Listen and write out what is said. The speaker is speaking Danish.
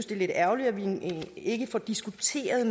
det er lidt ærgerligt at vi ikke får diskuteret